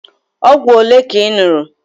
Ọgwụ ole ka ị ñụrụ?